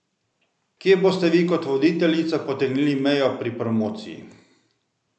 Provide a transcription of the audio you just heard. Kje boste vi kot voditeljica potegnili mejo pri promociji?